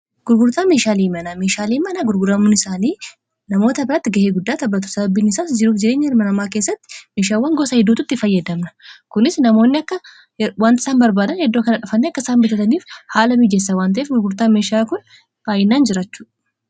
gurgurtaa meeshaalee manaa. meeshaalee manaa gurguramuun isaanii namoota biratti ga'ee guddaa taphatu sababbiinisaas jiruuf jireenya ilma namaa keessatti meeshaawwan gosa hedduututti fayyadamna kunis namoonni akka wantiisaan barbaadan eddoo kana dhufanni akka isaan bitataniif haala miijeessa wanta'eef gurgurtaa meeshaa kun baayyinaan jirachudha.